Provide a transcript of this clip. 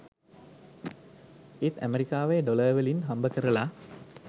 ඒත් ඇමරිකාවෙ ඩොලර් වලින් හම්බ කරල